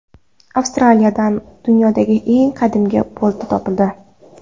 Avstraliyadan dunyodagi eng qadimgi bolta topildi.